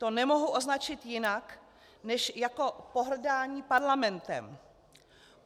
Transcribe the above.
To nemohu označit jinak než jako pohrdání Parlamentem.